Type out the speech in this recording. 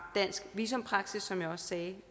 dansk visumpraksis som jeg også sagde